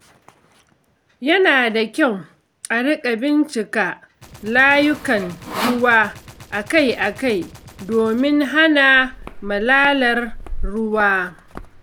Yana da kyau a riƙa bincika layukan ruwa akai-akai domin hana malalar ruwa.